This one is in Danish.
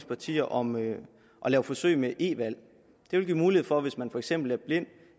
partier om at lave forsøg med e valg det vil give mulighed for hvis man for eksempel er blind